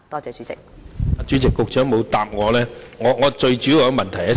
主席，局長沒有答覆我的補充質詢。